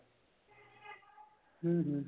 ਹਮ ਹਮ